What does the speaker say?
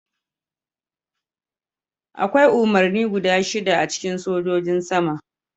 Akwai umarni guda shida a cikin Sojan Sama.